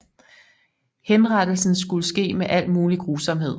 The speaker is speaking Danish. Henrettelsen skulle ske med al mulig grusomhed